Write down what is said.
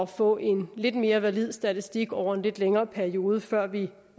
få en lidt mere valid statistik over en lidt længere periode før vi